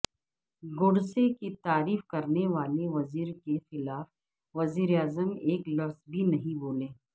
good سے کی تعریف کرنے والے وزیرکیخلاف وزیراعظم ایک لفظ بھی نہیں بولے